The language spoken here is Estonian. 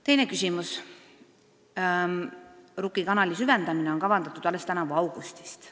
Teine küsimus: "Rukki kanali süvendamine on kavandatud alates tänavu augustist.